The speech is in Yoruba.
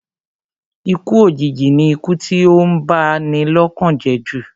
Ikú òjìji ni ikú tí ó ń ba ni lọ́kàn jẹ́ jù